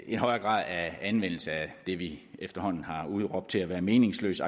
en højere grad af anvendelse af det vi efterhånden har udråbt til at være meningsløs